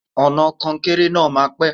Ọ̀nà kọnkéré náà máa pẹ́.